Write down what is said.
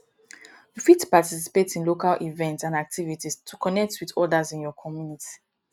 you fit participate in local events and activites to connect with odas in your communty